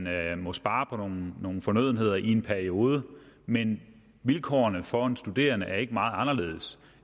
at man må spare på nogle nogle fornødenheder i en periode men vilkårene for en studerende er ikke meget anderledes